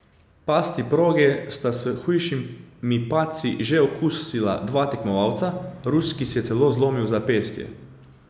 Pasti proge sta s hujšimi padci že okusila dva tekmovalca, ruski si je celo zlomil zapestje.